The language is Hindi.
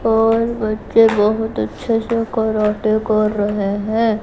और बच्चे बहुत अच्छे से कराटे कर रहे हैं।